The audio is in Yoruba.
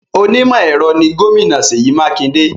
Onímọ̀-ẹ̀rọ ni Gómìnà Seyi Makinde